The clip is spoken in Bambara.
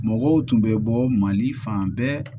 Mɔgɔw tun bɛ bɔ mali fan bɛɛ